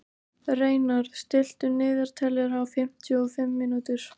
Reynarð, stilltu niðurteljara á fimmtíu og fimm mínútur.